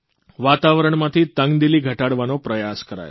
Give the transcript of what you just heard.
વાતાવરણમાંથી તંગદિલી ઘટાડવાનો પ્રયાસ કરાયો